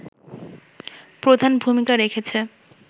প্রধান ভুমিকা রেখেছে